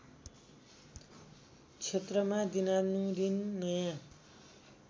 क्षेत्रमा दिनानुदिन नयाँ